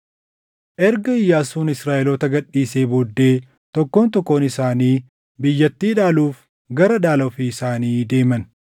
Erga Iyyaasuun Israaʼeloota gad dhiisee booddee tokkoon tokkoon isaanii biyyattii dhaaluuf gara dhaala ofii isaanii deeman.